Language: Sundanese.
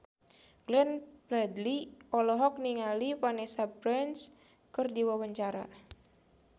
Glenn Fredly olohok ningali Vanessa Branch keur diwawancara